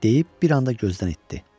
deyib bir anda gözdən itdi.